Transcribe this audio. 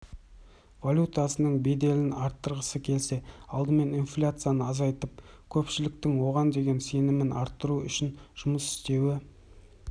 валютасының беделін арттырғысы келсе алдымен инфляцияны азайтып көпшіліктің оған деген сенімін арттыруы үшін жұмыс істеуі